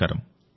నమస్కారం